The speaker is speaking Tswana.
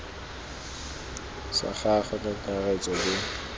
sa gagwe ka kakaretso bo